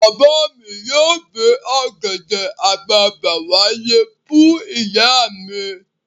Bàbá mi yóò gbé ọ̀gẹ̀dẹ̀ àgbagbà wálé fún ìyá mi.